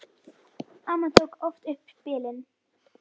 Amma tók oft upp spilin.